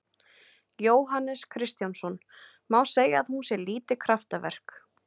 Jóhannes Kristjánsson: Má segja að hún sé lítið kraftaverk?